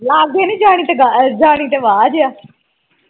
ਲਾਗੇ ਤੇ ਨਹੀਂ ਜਾਣੀ ਤੇ ਵਾਜ਼ ਹੈ